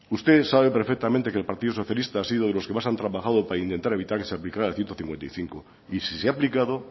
usted sabe perfectamente que el partido socialista ha sido de los que más han trabajado para intentar evitar que se aplicara el ciento cincuenta y cinco y si se ha aplicado